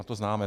A to známe.